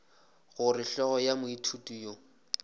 gore hlogo ya moithuti yo